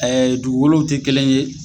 dugukolow tɛ kelen ye.